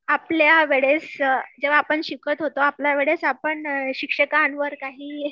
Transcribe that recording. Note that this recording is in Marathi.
आपल्यावेळेस जेव्हा आपण शिकत होतो आपल्यावेळेस आपण शिक्षकांवर काही